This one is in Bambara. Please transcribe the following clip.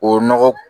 O nɔgɔ